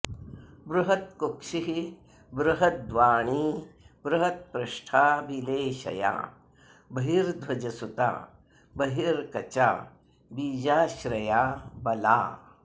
बृहत्कुक्षिः बृहद्वाणी बृहत्पृष्ठा बिलेशया बहिर्ध्वजसुता बर्हिकचा बीजाश्रया बला